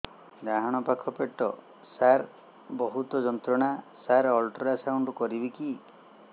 ଡାହାଣ ପାଖ ପେଟ ସାର ବହୁତ ଯନ୍ତ୍ରଣା ସାର ଅଲଟ୍ରାସାଉଣ୍ଡ କରିବି କି